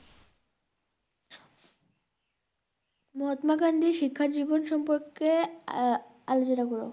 মহাত্মা গান্ধীর শিক্ষার জীবন সম্পর্কে আ~আলোচনা করো